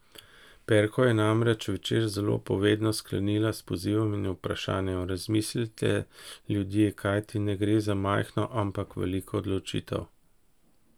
Perkova je namreč večer zelo povedno sklenila s pozivom in vprašanjem: 'Razmislite, ljudje, kajti ne gre za majhno, ampak veliko odločitev!